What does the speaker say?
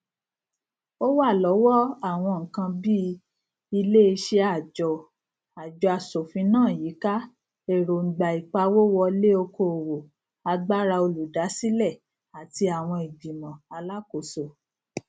ó wà lọwọ àwọn nnkn bí i iléeṣẹàjọ ajọasòfinàyíká èròngbàìpawówọléokòòwò agbára olùdásílẹ àti àwọn ìgbìmọ alákoso